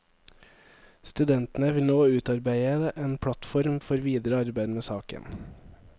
Studentene vil nå utarbeide en plattform for videre arbeid med saken.